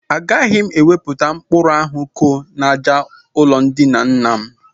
Agaghị m ewepụta mkpuru ahụ ko n'àjà ụlọndina nna m